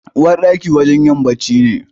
Uwarɗaki wurin yin bacci ne.